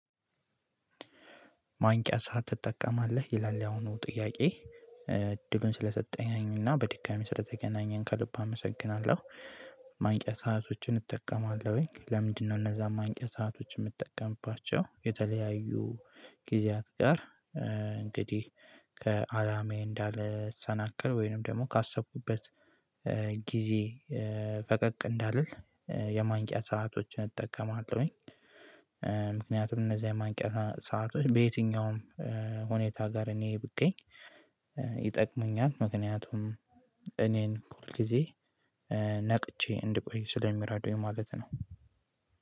ማንቂያ ሰዓት ትጠቀማለህ ይላል ያሁኑ ጥያቄ እድሉን ስለሰጠኝና በድጋሜ ስር ተገናኘን ከልብ አመሰግናለሁ ማንቂያ ሰአቶችን እጠቀማለሁኝ። ለምንድነው እነዛ አንቂ ሰአቶች የምትጠቀምባቸው የተለያዩ ጊዜያት ጋር እንግዲህ ከአላማዬ እንዳልሰናከል ወይንም ደግሞ ካሰብኩበት ጊዜ ፈቀቅ እንዳልል የማንቂያ ሰአቶችን እጠቀማለሁኝ። ምክንያቱም እነዚህ የማንቂያ ሰአቶች በየትኛውም ሁኔታ ጋር እኔ ብገኝ ይጠቅመኛል። ምክንያቱም እኔን ሁል ጊዜ ነቅቼ እንድቆይ ስለሚረዱውኝ ማለት ነው።